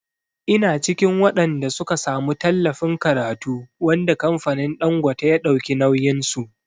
Ina cikin waɗanda suka samu tallafin karatu wanda kamfanin Ɗangote ya dauki nauyin su.